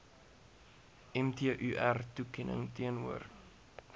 mtur toekenning teenoor